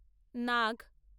নাগ।